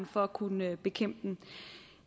for at kunne bekæmpe dem